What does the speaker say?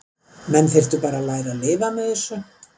Menn þyrftu bara að læra að lifa með þessu.